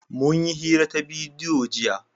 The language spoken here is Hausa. Mun yi hira ta bidiyo jiya.